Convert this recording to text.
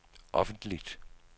offentligt